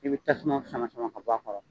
I bɛ tasuma sama sama ka b'a kɔrɔ.